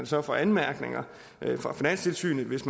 så får anmærkninger fra finanstilsynet hvis